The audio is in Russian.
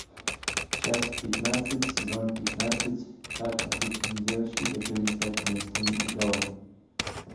часть пятнадцать сезон пятнадцать как обычные девочки хотели стать местными идолами